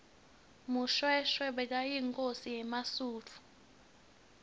mushoeshoe bekayinkhosi yemasuthu